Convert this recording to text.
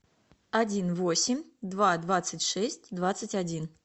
один восемь два двадцать шесть двадцать один